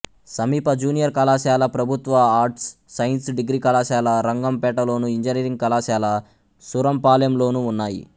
సమీప జూనియర్ కళాశాల ప్రభుత్వ ఆర్ట్స్ సైన్స్ డిగ్రీ కళాశాల రంగంపేటలోను ఇంజనీరింగ్ కళాశాల సూరంపాలెంలోనూ ఉన్నాయి